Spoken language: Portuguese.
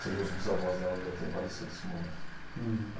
Seriam os bisavós dela, já tinham falecido nesse momento. Uhum.